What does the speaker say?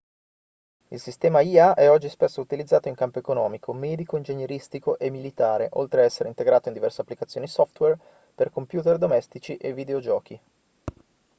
il sistema ia è oggi spesso utilizzato in campo economico medico ingegneristico e militare oltre a essere integrato in diverse applicazioni software per computer domestici e videogiochi